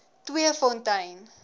tweefontein